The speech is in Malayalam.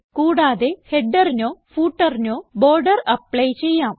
കൂടാതെ headerനോ footerനോ ബോർഡർ ആപ്ലി ചെയ്യാം